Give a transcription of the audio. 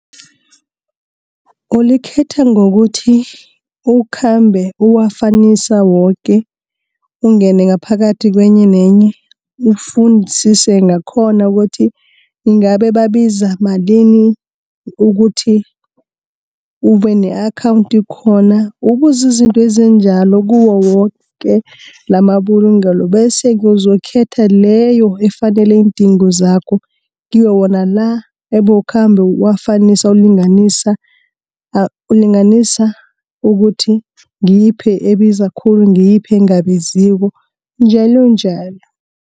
Ulikhetha ngokuthi, ukhambe uwafanisa woke, ungene ngaphakathi kenye nenye ufunisise ngakhona ukuthi ingabe babiza malini ukuthi ube ne-akhawunti khona. Ubuze izinto ezinjalo kuwo woke lamabulungelo bese-ke, uzokhetha leyo efanele iindingo zakho, kiwo wona la, ebowukhamba uwafanisa ulinganisa ukuthi ngiyiphi ebiza khulu ngiyiphi engabiziko njalonjalo.